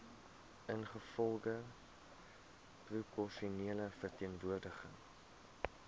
ingevolge proporsionele verteenwoordiging